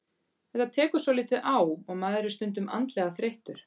Þetta tekur svolítið á og maður er stundum andlega þreyttur.